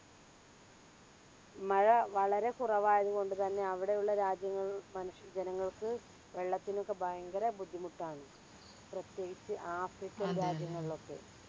മഴ വളരെ കുറവായതു കൊണ്ട് തന്നെ അവിടെയുള്ള രാജ്യങ്ങളിൽ മനുഷ്യ ജനങ്ങൾക്ക് വെള്ളത്തിനൊക്കെ ഭയങ്കര ബുദ്ധിമുട്ടാണ് പ്രത്യേകിച്ച് african രാജങ്ങളിലൊക്കെ.